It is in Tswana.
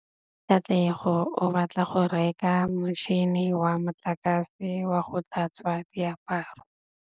Katlego o batla go reka motšhine wa motlakase wa go tlhatswa diaparo.